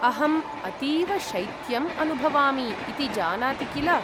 अहम् अतीव शैत्यम् अनुभवामि इति जानाति किल।